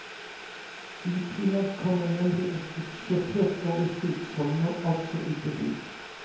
I tillegg kommer nemlig et budsjettert overskudd som nå altså uteblir.